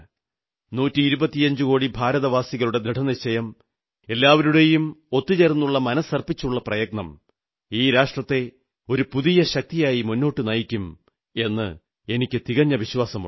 നൂറ്റിയിരുപത്തിയഞ്ചു കോടി ഭാരതവാസികളുടെ ദൃഢനിശ്ചയം എല്ലാവരുടെയും ഒന്നുചേർന്നുള്ള മനസ്സർപ്പിച്ചുള്ള പ്രയത്നം ഈ രാഷ്ട്രത്തെ ഒരു പുതിയ ശക്തിയാക്കി മുന്നോട്ട് നയിക്കുമെന്ന് എനിക്ക് തികഞ്ഞ വിശ്വാസമുണ്ട്